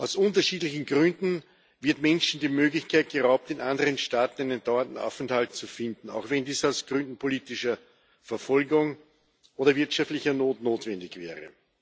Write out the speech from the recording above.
Aus unterschiedlichen Gründen wird Menschen die Möglichkeit geraubt, in anderen Staaten einen dauernden Aufenthalt zu finden, auch wenn dies aus Gründen politischer Verfolgung oder wirtschaftlicher Not notwendig wäre.